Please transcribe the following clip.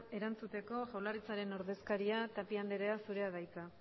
erantzuteko jaurlaritzaren ordezkaria tapia anderea zurea da hitza